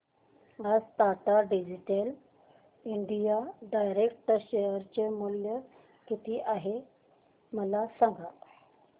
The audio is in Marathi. आज Tata digital India direct share चे मूल्य किती आहे मला सांगा